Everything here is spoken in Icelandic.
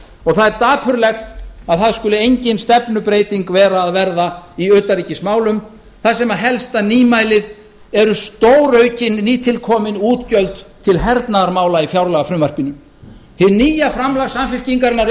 og það er dapurlegt að að skuli engin stefnubreyting eiga að verða í utanríkismálum þar sem helsta nýmælið eru stóraukin nýtilkomin útgjöld til hernaðarmála í fjárlagafrumvarpinu hið nýja framlag samfylkingarinnar